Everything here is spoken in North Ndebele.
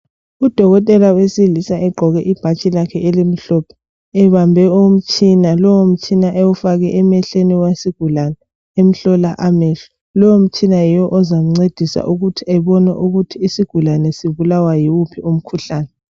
Udokotela wesilisa egqoke ibhatshi lakhe elimhlophe, ebambe umtshina. Lowo mtshina ewufake emehlweni esigulane, emhlola amehlo. Lowu mtshina yiwo ozamncedisa ukuthi ebone ukuthi isigulane sibulawa yiwuphi umkhuhlane.